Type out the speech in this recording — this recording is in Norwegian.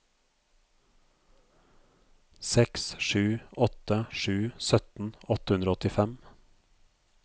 seks sju åtte sju sytten åtte hundre og åttifem